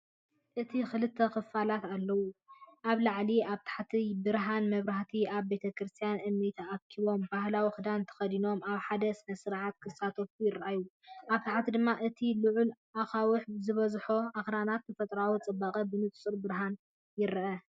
እቲ ክልተ ክፋላት ኣለዎ። ኣብ ላዕሊ፡ ኣብ ትሕቲ ብርሃን መብራህቲ ኣብ ቤተክርስትያን እምኒ ተኣኪቦም፡ ባህላዊ ክዳን ተኸዲኖም፡ ኣብ ሓደ ስነ-ስርዓት ክሳተፉ ይረኣዩ። ኣብ ታሕቲ ድማ እቲ ልዑል ኣኻውሕ ዝበዝሖ ኣኽራንን ተፈጥሮኣዊ ጽባቐን ብንጹር ብርሃን ይርአ።